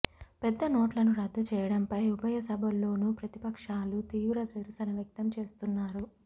పెద్దనోట్లను రద్దు చేయడంపై ఉభయ సభల్లోనూ ప్రతిపక్షాలు తీవ్ర నిరసన వ్యక్తం చేస్తున్నారు